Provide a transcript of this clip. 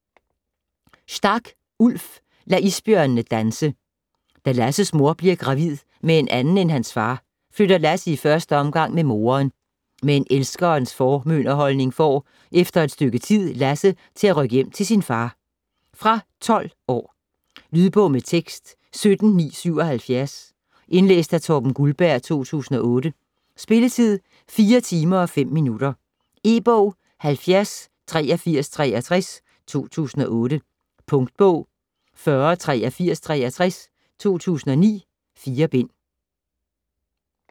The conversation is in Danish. Stark, Ulf: Lad isbjørnene danse Da Lasses mor bliver gravid med en anden end hans far, flytter Lasse i første omgang med moderen. Men elskerens formynderholdning får - efter et stykke tid - Lasse til at rykke hjem til sin far. Fra 12 år. Lydbog med tekst 17977 Indlæst af Torben Guldberg, 2008. Spilletid: 4 timer, 5 minutter. E-bog 708363 2008. Punktbog 408363 2009. 4 bind.